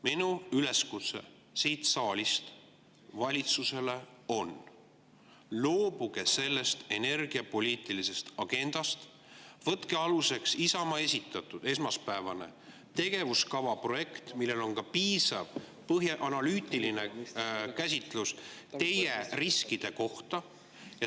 Minu üleskutse siit saalist valitsusele on: loobuge sellest energiapoliitilisest agendast ja võtke aluseks esmaspäeval Isamaa esitatud tegevuskava projekt, milles on piisav analüütiline käsitlus teie riskide kohta.